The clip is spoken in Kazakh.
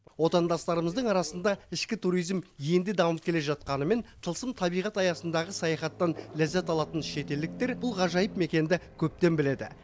отандастарымыздың арасында ішкі туризм енді дамып келе жатқанымен тылсым табиғат аясындағы саяхаттан ләззат алатын шетелдіктер бұл ғажайып мекенді көптен біледі